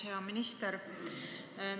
Hea minister!